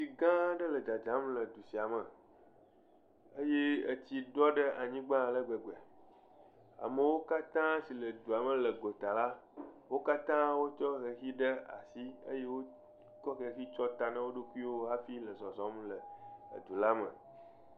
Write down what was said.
Tsigã aɖe le dzadza le du sia me eye etsi ɖɔ ɖe anyigba ale gbegbe. Amewo katã si le dua me le gota la, wo katã wotsɔ xexi ɖe asi eye wokɔ xexi tsyɔ ta na wo ɖokuiwo hafi le zɔzɔm le dula me.